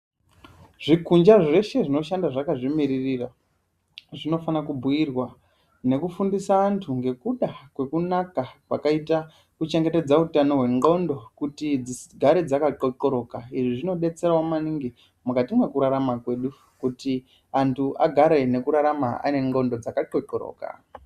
Zvikunja zveshe zvinoshanda zvakazvimirira zvinofana kugadzirirwa nekufundisa antu nekuda kwekunaka kwakaita kuchengetedza hutano hwengonxo kutinufare hwakaanxonxoroka zvakanaka maningi hugare hwakanaka.